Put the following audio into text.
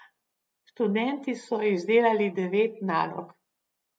Študenti so izdelali devet nalog.